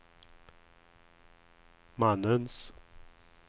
mannens